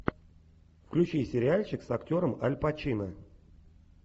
включи сериальчик с актером аль пачино